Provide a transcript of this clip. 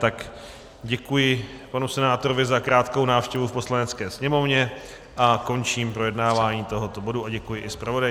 Tak děkuji panu senátorovi za krátkou návštěvu v Poslanecké sněmovně a končím projednávání tohoto bodu a děkuji i zpravodaji.